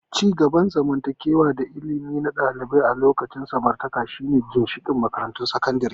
Ci gaban zamantakewa da ilimi na ɗalibai a lokacin samartaka shine ginshiƙan makarantun sakandare.